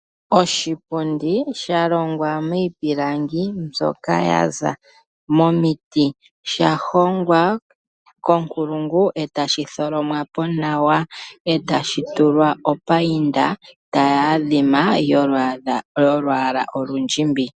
Oshipundi osha longwa miipilangi mbyoka ya za momiti. Osha hongwa konkulungu e tashi tholomwa po nawa, osha tulwa wo opainda ndjoka tayi adhima yolwaala olundjimbi.